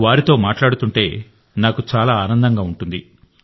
వారితో మాట్లాడుతుంటే నాకు చాలా ఆనందంగా ఉంటుంది